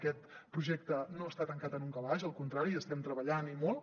aquest projecte no està tancat en un calaix al contrari hi estem treballant i molt